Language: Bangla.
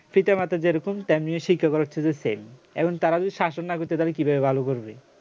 পিতা-মাতা যেরকম তেমনি শিক্ষা করাচ্ছে তো same এখন তারা যদি শাসন না করতে চাই তাহলে তারা কিভাবে ভালো করবে